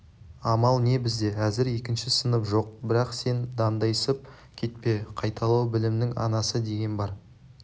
амал не бізде әзір екінші сынып жоқ бірақ сен дандайсып кетпе қайталау білімнің анасы деген бар